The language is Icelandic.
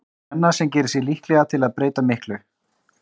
Svenna sem gerir sig líklega til að breyta miklu.